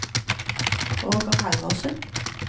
Roger Halvorsen